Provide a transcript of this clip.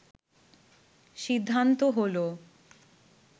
সিদ্ধান্ত হলো